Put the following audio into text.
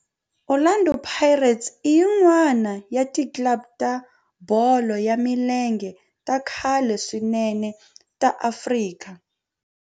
Orlando Pirates i yin'wana ya ti club ta bolo ya milenge ta khale swinene ta Afrika